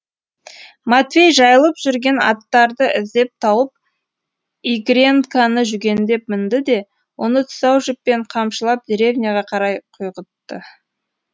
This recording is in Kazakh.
матвей жайылып жүрген аттарды іздеп тауып игренканы жүгендеп мінді де оны тұсау жіппен қамшылап деревняға қарай құйғытты